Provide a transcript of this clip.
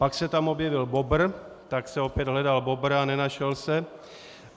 Pak se tam objevil bobr, tak se opět hledal bobr a nenašel se.